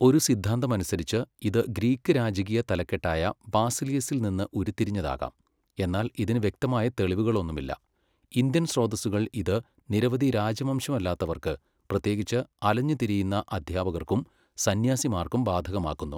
ഒരു സിദ്ധാന്തമനുസരിച്ച്, ഇത് ഗ്രീക്ക് രാജകീയ തലക്കെട്ടായ ബാസിലിയസിൽ നിന്ന് ഉരുത്തിരിഞ്ഞതാകാം, എന്നാൽ ഇതിന് വ്യക്തമായ തെളിവുകളൊന്നുമില്ല. ഇന്ത്യൻ സ്രോതസ്സുകൾ ഇത് നിരവധി രാജവംശമല്ലാത്തവർക്ക്, പ്രത്യേകിച്ച് അലഞ്ഞുതിരിയുന്ന അദ്ധ്യാപകർക്കും സന്യാസിമാർക്കും ബാധകമാക്കുന്നു.